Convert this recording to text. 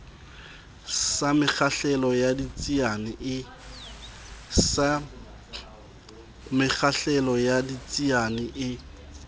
sa mekgahlelo ya ditsiane e